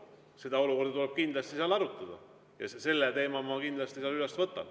Seda olukorda tuleb kindlasti seal arutada ja selle teema ma kindlasti seal üles võtan.